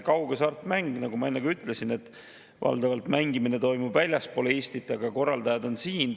Kaughasartmängu mängimine, nagu ma enne ütlesin, toimub valdavalt väljaspool Eestit, aga korraldajad on siin.